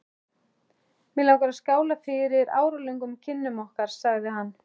Mig langar að skála fyrir áralöngum kynnum okkar sagði hann.